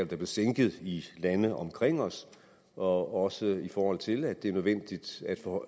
blevet sænket i landene omkring os og også i forhold til at det er nødvendigt